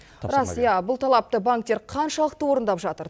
рас иә бұл талапты банктер қаншалықты орындап жатыр